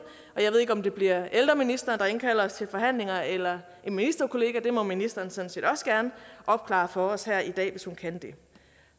ved ikke om det bliver ældreministeren der indkalder til forhandlinger eller en ministerkollega det må ministeren sådan set også gerne opklare for os her i dag hvis hun kan det